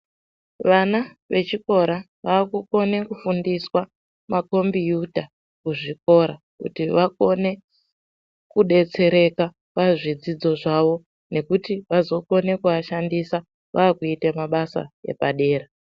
Vana vechikora vakukone kufundiswa makombiyuta kuzvikora kuti vakone kubetsereka pazvidzidzo zvavo nekuti vazokone kuashandisa vakuita mabasa epadera